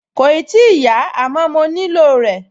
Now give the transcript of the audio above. Kòì tíì yá, àmọ́ mo nílò rẹ̀